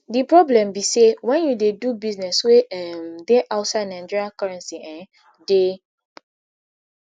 di problem be say wen you dey do business wey um dey outside nigeria currency um dey